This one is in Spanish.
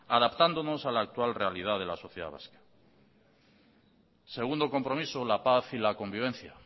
adaptándonos a la actual realidad de la sociedad vasca segundo compromiso la paz y la convivencia